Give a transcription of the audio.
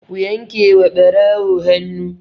Ku yanke wa ɓarawo hannu!